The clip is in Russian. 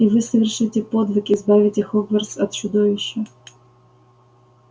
и вы совершите подвиг избавите хогвартс от чудовища